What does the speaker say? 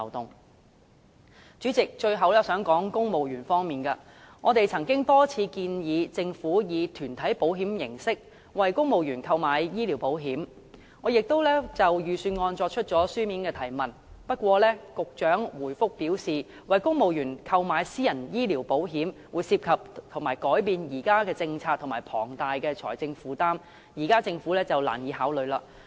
代理主席，最後我想談談在公務員方面，我們曾多次建議政府以團體保險形式，為公務員購買醫療保險，我亦曾就預算案作出書面質詢，不過局長答覆表示，為公務員購買私人醫療保險，涉及改變現行政策及龐大財政負擔，政府現階段難以考慮。